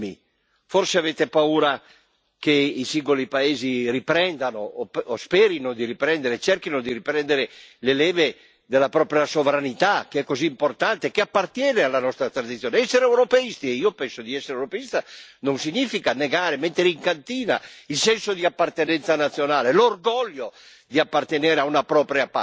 Forse avete paura che i singoli paesi riprendano o sperino, cerchino di riprendere le leve della propria sovranità, che è così importante, che appartiene alla nostra tradizione. Essere europeisti e io penso di essere europeista non significa negare, mettere in cantina il senso di appartenenza nazionale, l'orgoglio di appartenere a una propria patria.